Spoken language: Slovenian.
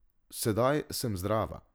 Sedaj sem zdrava.